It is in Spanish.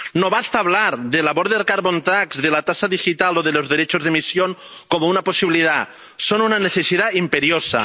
no basta hablar del carbon border tax de la tasa digital o de los derechos de emisión como una posibilidad son una necesidad imperiosa.